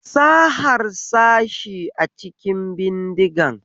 Sa harsashi a cikin bindigan